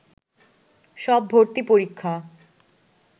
সব ভর্তি পরীক্ষা